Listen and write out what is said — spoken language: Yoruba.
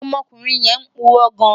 Ọmọkunrin yẹn purọ gan